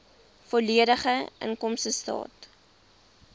volledige inkomstestaat